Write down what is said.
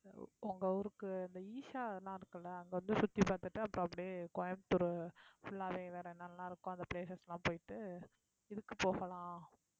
உங்க ஊருக்கு அந்த ஈஷா அதெல்லாம் இருக்குல்ல அங்க வந்து சுத்தி பார்த்துட்டு அப்புறம் அப்படியே கோயம்புத்தூர் full லாவே வேற நல்லா இருக்கும் அந்த places லாம் போயிட்டு இதுக்கு போகலாம்